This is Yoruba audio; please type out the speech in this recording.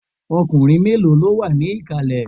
Ọkùnrin mélòó ló wà ní ìkàlẹ̀?